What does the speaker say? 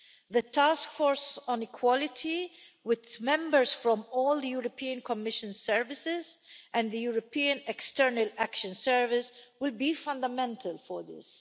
The task force on equality, with members drawn from all the Commission's services and the European External Action Service, will be fundamental for this.